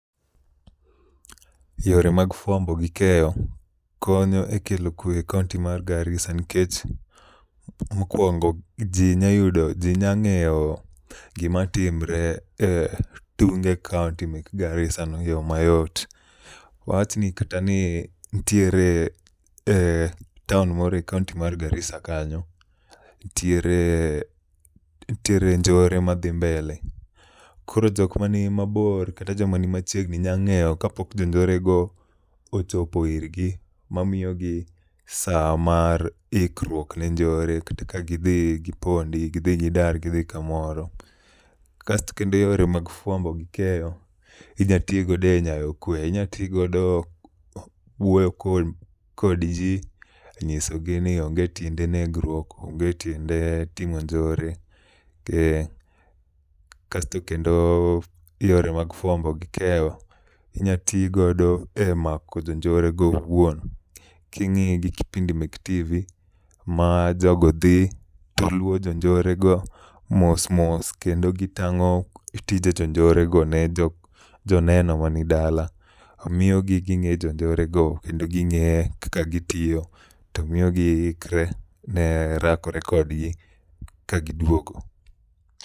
Yore mag fuambo gi keyo konyo e kelo kwe e kaonti ma Garisa nikech mokuongo ji nyalo yudo ji nyalo ng'eyo gik matimore e tunge kaonti mek Garisano e yo mayot. Wachni kata ni nitiere town moro e kaonti mar Garisa kanyo, nitiere nitiere njore madhi mbele. Koro jok man mabor kata jok man machiegni nyalo ng'eyo ka pok jo njorego ochopo ir gi mamiyogi saa mar ikruok ne njpre kata ka gidhi gipondi, gidhi gidar gin kamoro. Kasto kendo yore mag fuambo gi keyo inyalo ti godo e nyayo kwe, inyalo tti godo e wuoyo kodji nyisogi ni onge ttiiene negruok, onget iende timo njore. Kasto kendo yore mag fuambo gi keyo inyalo ti godo e mako jonjorwe go owuon ka ing'iye gi kipindi mek tv ma jogo dhi to luwo jonjorego mos mos kendo gitang'o tije jonjorego ne jok ne oneno mani dala miyo gineno jonjore go kendo kaka gitiyo. To miyo giikre ne rakore kodgi ka giduogo.